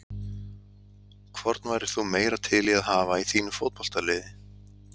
Hvorn værir þú meira til í að hafa í þínu fótboltaliði?